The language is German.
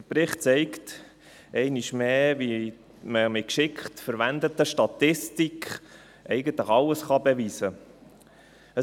Der Bericht zeigt einmal mehr, wie man mit geschickt verwendeter Statistik eigentlich alles beweisen kann.